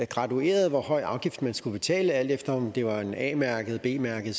gradueret hvor høj afgift man skulle betale alt efter om det var en a mærket b mærket